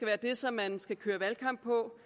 være det som man skal køre valgkamp på